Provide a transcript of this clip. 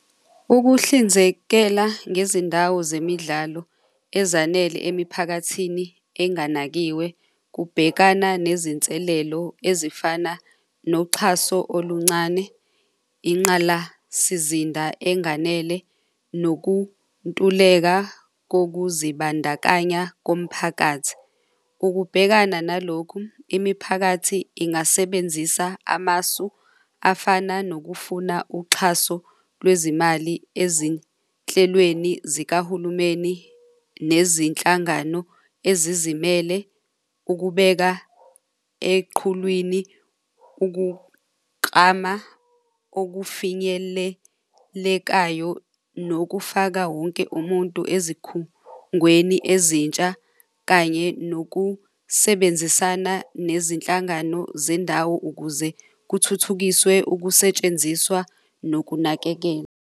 Ukuhlinzekela ngezindawo zemidlalo ezanele emiphakathini enganakiwe, kubhekana nezinselelo ezifana noxhaso oluncane inqalasizinda enganele nokuntuleka kokuzibandakanya komphakathi. Ukubhekana nalokhu, imiphakathi ingasebenzisa amasu afana nokufuna uxhaso lwezimali ezinhlelweni zikahulumeni nezinhlangano ezizimele ukubeka eqhulwini ukuqama okufinyelelekayo nokufaka wonke umuntu ezikhungweni ezintsha kanye nokusebenzisana nezinhlangano zendawo ukuze kuthuthukiswe ukusetshenziswa nokunakekelwa.